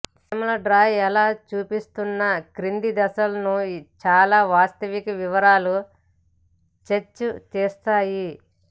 చీమల డ్రా ఎలా చూపిస్తున్న క్రింది దశలను చాలా వాస్తవిక వివరాలు స్కెచ్ తీస్తాయి